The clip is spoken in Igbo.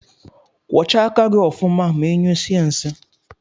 Kwọcha aka gi ọfụma ma inyụsie nsi.